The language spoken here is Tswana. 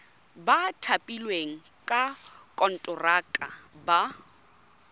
ba thapilweng ka konteraka ba